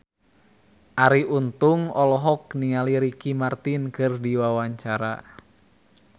Arie Untung olohok ningali Ricky Martin keur diwawancara